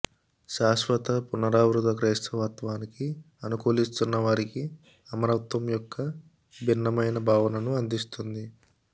శాశ్వత పునరావృత క్రైస్తవత్వానికి అనుకూలిస్తున్నవారికి అమరత్వం యొక్క భిన్నమైన భావనను అందిస్తుంది